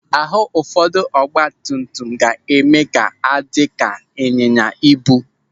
Àhụ́ ụfọdụ ọgbatumtum ga-eme ha adị ka ịnyịnyaibu.